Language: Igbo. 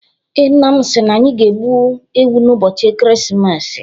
Ee, nna m si na anyị ga-egbu ewu n'ụbọchị ekeresimesi.